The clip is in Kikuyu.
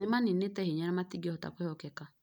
Nĩ mĩninĩtĩ hinya na matingĩhota kwĩhokĩka.